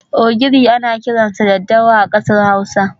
Ogiri ana kiransa 'dadawa' a kasar Hausa.